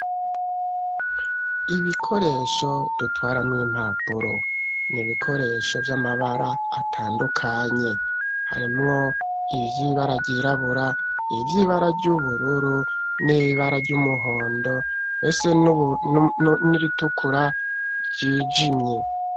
Ibikoresho dutwaramwo impapuro, nibikoresho vy'amabara atandukanye harimwo ibyibara byirabura ivy'ibara ry'ubururu n'ibara ry'umuhondo bese n'iritukura ryijimye.